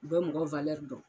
U bɛ mɔgɔ dɔn.